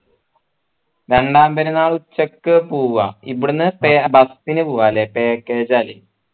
രണ്ടാം പെരുന്നാൾ ഉച്ചക്ക് പോവാം ഇബിടെന്ന് bus ന് പോവാല്ലേ package ആലെ